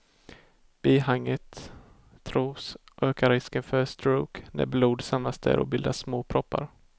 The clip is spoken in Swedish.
Bihanget tros öka risken för stroke när blod samlas där och bildar små proppar.